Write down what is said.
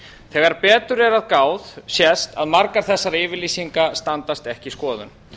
þegar betur er að gáð sést að margar þessar yfirlýsingar standast ekki skoðun